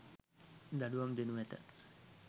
දඩුවම් දෙනු ඇත.